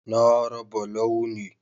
Na raba Launi